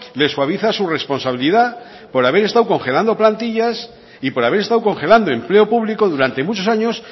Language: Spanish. le suaviza su responsabilidad por haber estado congelando plantillas y por haber estado congelando empleo público durante muchos años